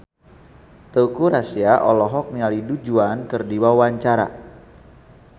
Teuku Rassya olohok ningali Du Juan keur diwawancara